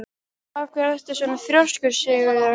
Af hverju ertu svona þrjóskur, Sigurður?